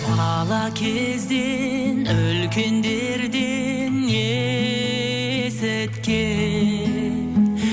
бала кезде үлкендерден есіткем